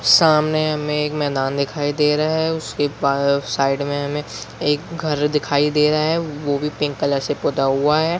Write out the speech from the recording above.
सामने हमें एक मैदान दिखाई दे रहा है और उसके बाद साइड में हमें एक घर दिखाई दे रहा है वो भी पिंक कलर से पुता हुआ है।